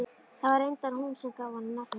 Það var reyndar hún sem gaf honum nafnið.